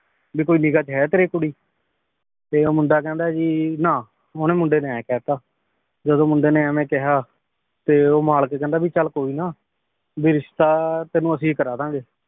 ਭੀ ਕੋਈ ਨਿਗਾ ਚ ਹੈ ਤੇਰੀ ਕੁਰੀ ਤੇ ਊ ਮੁੰਡਾ ਕਹੰਦਾ ਆਯ ਭੀ ਨਾ ਓਨੀ ਮੁੰਡੇ ਨੇ ਏਂ ਕਹ ਤਾ ਜਦੋਂ ਮੁੰਡੇ ਨੇ ਇਵੇਂ ਕਹਯ ਤੇ ਊ ਮਲਿਕ ਕਹੰਦਾ ਭੀ ਚਲ ਕੋਈ ਨਾ ਭੀ ਰਿਸ਼ਤਾ ਤੇਨੁ ਅਸੀਂ ਕਰ ਦਾਨ ਗੇ